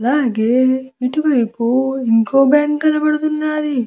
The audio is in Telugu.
అలాగే ఇటువైపు ఇంకొక బ్యాంకు కనపడుతున్నాది.